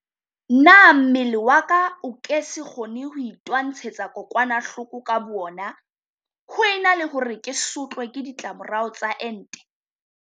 Na mmele wa ka o ke se kgone ho itwantshetsa kokwanahloko ka boona ho ena le hore ke sotlwe ke di tlamorao tsa ente?